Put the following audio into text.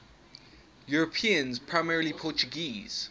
europeans primarily portuguese